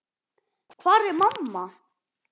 Hvar er mamma?